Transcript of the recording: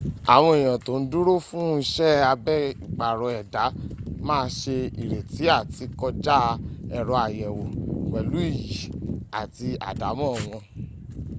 àwọn èèyàn tó ń dúró fún iṣẹ́ abẹ ìpàrọ̀ ẹ̀dá má se retí àti kọjá ẹ̀rọ àyẹ̀wò pẹ̀lú iyì àti àdámọ́ wọn